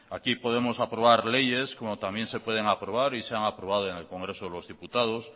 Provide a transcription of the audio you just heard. aquí podemos aprobar leyes como también se pueden aprobar y se han aprobado en el congreso de los diputados